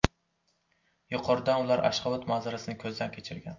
Yuqoridan ular Ashxobod manzarasini ko‘zdan kechirgan.